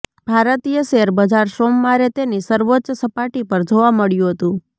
ભારતીય શેરબજાર સોમવારે તેની સર્વોચ્ચ સપાટી પર જોવા મળ્યું હતું